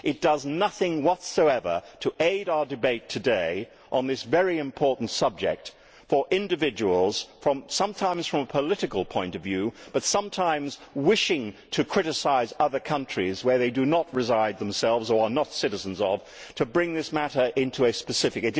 It does nothing whatsoever to aid our debate today on this very important subject for individuals, sometimes from a political point of view, but sometimes wishing to criticise other countries where they do not reside themselves or of which they are not citizens, to bring this matter into a specific.